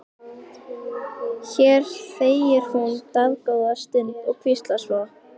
Hér þegir hún dágóða stund og hvíslar svo: